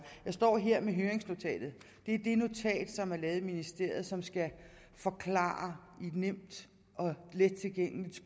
jeg står her med høringsnotatet det er det notat som er lavet i ministeriet og som skal forklare i nemt og let tilgængeligt